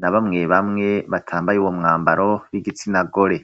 na bamwe bamwe batambaye uwo mwambaro w'igitsina gore.